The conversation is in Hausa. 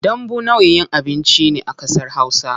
Dambu nau'in abinci ne a kasar hausa.